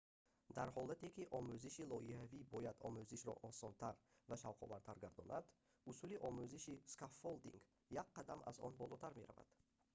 дар ҳоле ки омӯзиши лоиҳавӣ бояд омӯзишро осонтар ва шавқовартар гардонад усули омӯзиши скаффолдинг як қадам аз он болотар меравад